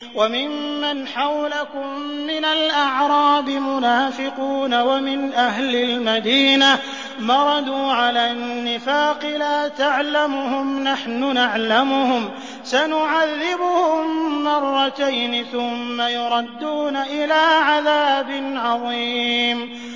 وَمِمَّنْ حَوْلَكُم مِّنَ الْأَعْرَابِ مُنَافِقُونَ ۖ وَمِنْ أَهْلِ الْمَدِينَةِ ۖ مَرَدُوا عَلَى النِّفَاقِ لَا تَعْلَمُهُمْ ۖ نَحْنُ نَعْلَمُهُمْ ۚ سَنُعَذِّبُهُم مَّرَّتَيْنِ ثُمَّ يُرَدُّونَ إِلَىٰ عَذَابٍ عَظِيمٍ